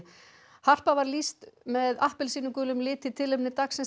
harpa var lýst með appelsínugulum lit í tilefni dagsins